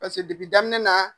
Paseke daminɛ na